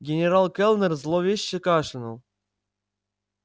генерал кэллнер зловеще кашлянул